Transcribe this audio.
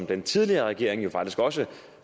den tidligere regering sagde jo faktisk også